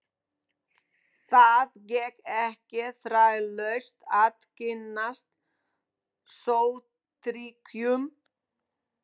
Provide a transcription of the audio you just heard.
Það gekk ekki þrautalaust að kynnast Sovétríkjunum.